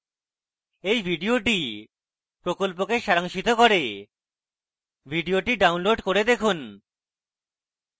এই video প্রকল্পকে সারাংশিত করে video download করে দেখুন